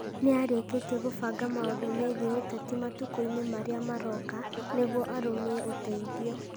Nĩ arĩkĩtie kũbanga maũndũ mĩgiĩ ũteti matukũinĩ marĩa maroka, nĩguo arũmie ũteithio.